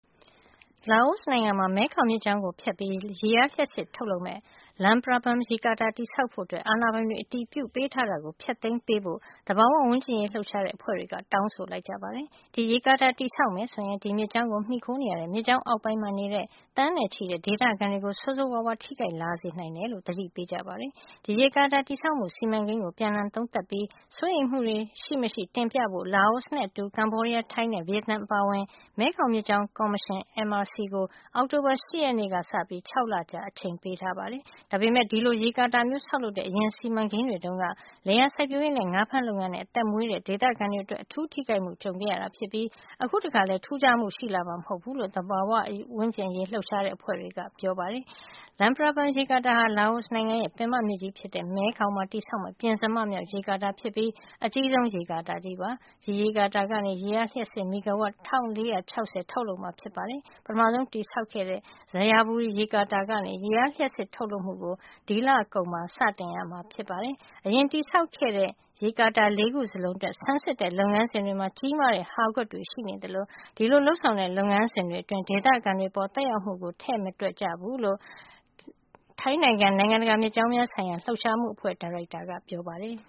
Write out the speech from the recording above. လာအိုနိုင်ငံမှာ မဲခေါင်မြစ်ကြောင်းကိုဖြတ်ပြီး ရေအားလျှပ်စစ်ထုတ်မယ့် Luang Prabang ရေကာတာ တည်ဆောက်ဖို့ အာဏာပိုင်တွေ အတည်ပြုပေးထားတာကို ဖျက်သိမ်းပေးဖို့ သဘာဝဝန်းကျင်အရေး လှုပ်ရှားတဲ့ အဖွဲ့တွေက တောင်းဆိုလိုက်ကြပါတယ်။ ဒီရေကာတာ တည်ဆောက်မယ်ဆိုရင် ဒီမြစ်ကြောင်းကို မှီခိုနေရတဲ့ မြစ်ကြောင်းအောက်ပိုင်းနေ သန်းနဲ့ချီတဲ့ ဒေသခံတွေကို ဆိုးဆိုးဝါးဝါး ထိခိုက်လာနိုင်တယ်လို့လည်း သတိပေးကြပါတယ်။ ဒီရေကာတာတည်ဆောက်မှု စီမံကိန်းကို ပြန်လှန်သုံးသပ်ပြီး စိုးရိမ်မှုတွေရှိမရှိ တင်ပြဖို့ လာအိုနဲ့အတူ ကမ္ဘောဒီးယား၊ ထိုင်းနဲ့ ဗီယက်နမ် အပါအဝင် မဲခေါင်မြစ်ကြောင်းကော်မရှင် (MRC) ကို အောက်တိုဘာလ ၈ ရက်နေ့ကစပြီး ၆ လကြာ အချိန်ပေးထားပါတယ်။ ဒါပေမယ့် ဒီလိုရေကာတာမျိုး ဆောက်လုပ်တဲ့ အရင်စီမံကိန်းတွေတုန်းက လယ်ယာစိုက်ပျိုးရေးနဲ့ ငါးဖမ်းလုပ်ငန်းတွေနဲ့ အသက်မွေးကြတဲ့ ဒေသခံတွေအတွက် အထူးထိခိုက်မှုတွေ ကြုံခဲ့ကြရတာဖြစ်ပြီး အခုတခါမှာလည်း ထူးခြားမှုရှိလာမှာ မဟုတ်ဘူးလို့ သဘာဝဝန်းကျင်အရေး လှုပ်ရှားတဲ့ အဖွဲ့တွေက ပြောပါတယ်။ Luang Prabang ရေကာတာဟာ လာအိုနိုင်ငံရဲ့ ပင်မမြစ်ကြီးဖြစ်တဲ့ မဲခေါင်မှာ တည်ဆောက်မယ့် ပဉ္စမမြောက် ရေကာတာဖြစ်ပြီး အကြီးဆုံး ရေကာတာကြီး ဖြစ်ပါတယ်။ ဒီရေကာတာကနေ ရေအားလျှပ်စစ် မီဂါဝပ် ၁,၄၆၀ ထုတ်လုပ်မှာဖြစ်ပါတယ်။ ပထမဆုံး တည်ဆောက်ခဲ့တဲ့ Xayaburi ရေကာတာကနေ ရေအားလျှပ်စစ် ထုတ်လုပ်မှုကို ဒီလကုန်မှာ စတင်ရမှာ ဖြစ်ပါတယ်။ အရင်တည်ဆောက်ခဲ့တဲ့ ရေကာတာ ၄ ခု စလုံးအတွက် ဆန်းစစ်တဲ့ လုပ်ငန်းစဉ်တွေမှာ ကြီးမားတဲ့ဟာကွက်တွေ ရှိနေသလို ဒီလိုလုပ်ဆောင်တဲ့ လုပ်ငန်းစဉ်တွေအတွင်း ဒေသခံတွေအပေါ် သက်ရောက်မှုကို ထည့်မတွက်ခဲ့ကြဘူးလို့ ထိုင်းနိုင်ငံက နိုင်ငံတကာ မြစ်ကြောင်းများဆိုင်ရာ လှုပ်ရှားမှုအဖွဲ့ ဒါရိုက်တာ Pianporn Deetes က ပြောပါတယ်။